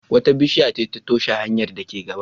Wata bishiya ce ta toshe hanyar da ke gaba.